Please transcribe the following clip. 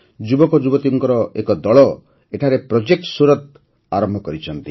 ଯୁବକଯୁବତୀଙ୍କର ଏକ ଦଳ ଏଠାରେ ପ୍ରୋଜେକ୍ଟ ସୁରତ ଆରମ୍ଭ କରିଛନ୍ତି